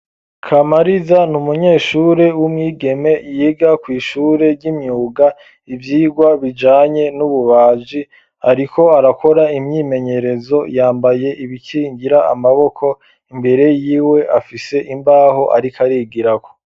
Kamariza ni umunyeshure w'umwigeme yiga kw'ishure ry'imyuga, ivyigwa bijanye n'ububaji, ariko arakora imyimenyerezo yambaye ibikingira amaboko, imbere yiwe afise imbaho ariko arigirako.